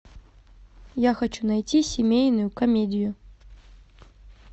я хочу найти семейную комедию